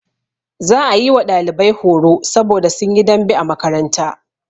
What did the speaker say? Za a yi wa ɗalibai horo saboda sun yi dambe a makaranta.